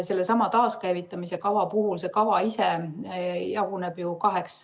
Seesama taaskäivitamise kava ise jaguneb kaheks.